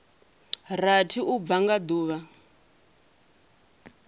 rathi u bva nga duvha